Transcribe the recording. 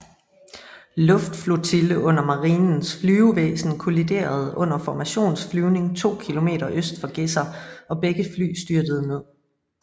Luftflotille under Marinens Flyvevæsen kolliderede under formationsflyvning 2 km øst for Gedser og begge fly styrtede ned